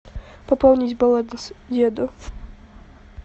пополнить баланс деду